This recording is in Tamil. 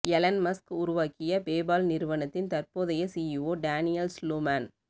எலன் மஸ்க் உருவாக்கிய பேபால் நிறுவனத்தின் தற்போதைய சிஇஓ டேனியல் ஸ்லுமேன்